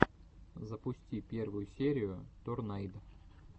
запусти первую серию торнайд